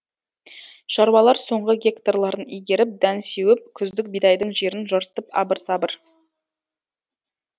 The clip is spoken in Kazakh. шаруалар соңғы гектарларын игеріп дән сеуіп күздік бидайдың жерін жыртып абыр сабыр